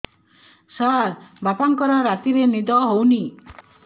ସାର ବାପାଙ୍କର ରାତିରେ ନିଦ ହଉନି